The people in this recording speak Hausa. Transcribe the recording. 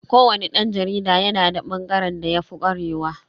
Ko wani dan jarida yana da bangaren da yafi kwarewa.